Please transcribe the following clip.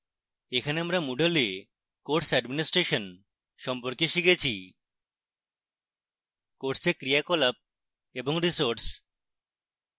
এখানে আমরা moodle we course administration সম্পর্কে শিখেছি